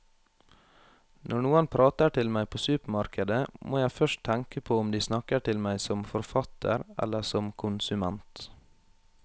Når noen prater til meg på supermarkedet, må jeg først tenke på om de snakker til meg som forfatter eller som konsument.